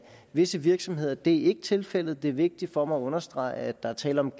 visse virksomheder det er ikke tilfældet det er vigtigt for mig at understrege at der er tale om